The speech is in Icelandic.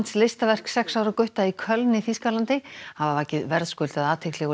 listaverk sex ára gutta í Köln í Þýskalandi hafa vakið verðskuldaða athygli og